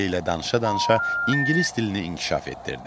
Andrey ilə danışa-danışa ingilis dilini inkişaf etdirdi.